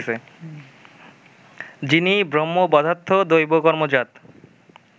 যিনি ব্রহ্মবধার্থ দৈবকর্মজাত